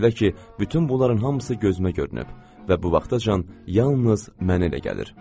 Belə ki, bütün bunların hamısı gözümə görünüb və bu vaxtacan yalnız mənə elə gəlir.